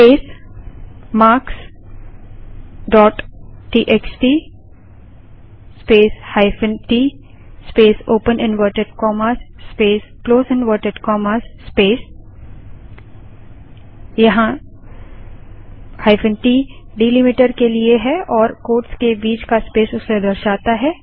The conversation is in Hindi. space marks dot TXT space hyphen t space open inverted commas space close inverted commas space यहाँ -t डैलिमीटर के लिए है और कोट्स के बीच का स्पेस उसे दर्शाता है